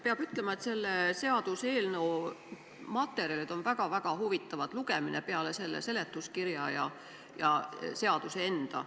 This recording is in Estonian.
Peab ütlema, et selle seaduseelnõu materjalid on väga-väga huvitav lugemine – pean silmas muid materjale peale seletuskirja ja seaduse enda.